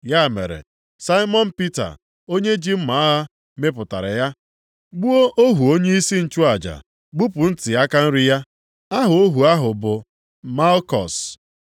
Ya mere Saimọn Pita, onye ji mma agha, mịpụtara ya, gbuo ohu onyeisi nchụaja, gbupụ ntị aka nri ya. Aha ohu ahụ bụ Malkus.